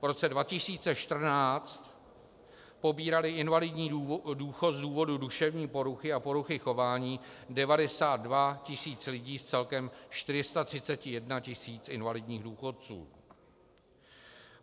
V roce 2014 pobíralo invalidní důchod z důvodu duševní poruchy a poruchy chování 92 tisíc lidí z celkem 431 tisíc invalidních důchodců.